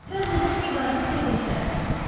Fərz edək ki, qatil evdəkilərdən biridir.